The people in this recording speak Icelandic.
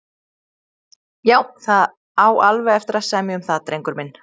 Já, það á alveg eftir að semja um það, drengur minn.